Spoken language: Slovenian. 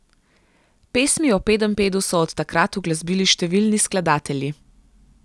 Pesmi o Pedenjpedu so od takrat uglasbili številni skladatelji.